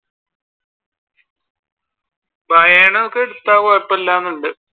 ഒക്കെ എടുത്ത കൊഴപ്പമില്ല എന്നുണ്ട്.